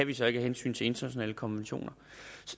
vi så ikke af hensyn til internationale konventioner